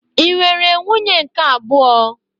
Ị nwere nwunye nke abụọ?